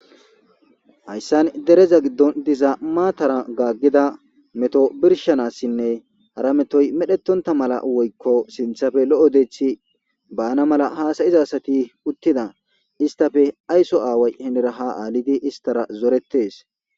Hayssan dereza giddon dizaa matara gaaggida meto birshanassinne hara metoy medhetonta mala woykko sinthafe lo'o deethi baana mala haasayiza asati uttida istafe aysso aaway henera ha aalidi istara zoretes.